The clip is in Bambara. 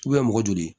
mɔgɔ joli